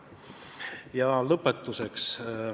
Ja lõpetuseks.